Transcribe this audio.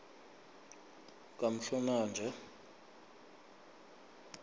kamhlolanja